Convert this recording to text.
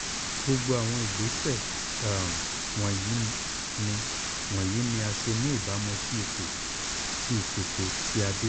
gbogbo awọn igbese um wọnyi ni wọnyi ni a ṣe ni ibamu si ipo ti iṣeto ti adé